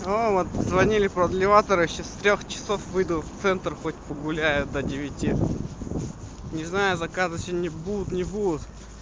о вот звонили продлеваться короче с трёх часов выйду в центр хоть погуляю до девяти не знаю заказы сегодня будут не будут